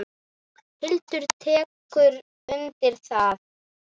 Hildur tekur undir það.